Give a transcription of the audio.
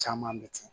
Caman bɛ ten